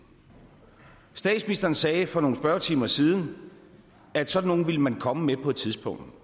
statsministeren sagde for nogle spørgetimer siden at sådan nogle ville man komme med på et tidspunkt